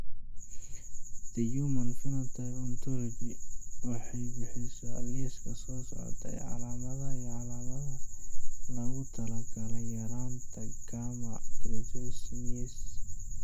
The Human Phenotype Ontology waxay bixisaa liiska soo socda ee calaamadaha iyo calaamadaha loogu talagalay yaraanta Gamma cystathionase.